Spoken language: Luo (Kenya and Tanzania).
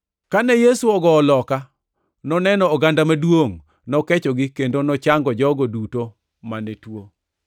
Kane Yesu ogowo loka, noneno oganda maduongʼ, nokechogi kendo nochango jogo duto mane tuo.